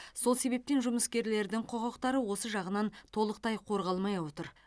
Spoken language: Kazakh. сол себептен жұмыскерлердің құқықтары осы жағынан толықтай қорғалмай отыр